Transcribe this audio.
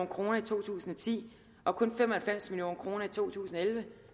kroner i to tusind og ti og kun fem og halvfems million kroner i to tusind og elleve